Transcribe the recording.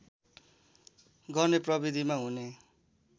गर्ने प्रविधिमा हुने